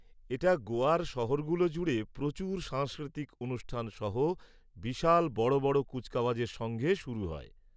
এটা গোয়ার শহরগুলো জুড়ে প্রচুর সাংস্কৃতিক অনুষ্ঠান সহ বিশাল বড় বড় কুচকাওয়াজের সঙ্গে শুরু হয়।